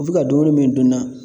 U bɛ ka dumuni min dun n'a